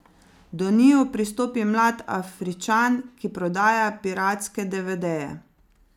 Do njiju pristopi mlad Afričan, ki prodaja piratske devedeje.